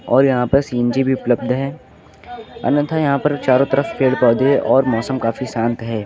और यहां पर सी_एन_जी भी उपलब्ध हैं अन्यथा यहां पर चारों तरफ पेड़ पौधे और मौसम काफी शांत हैं।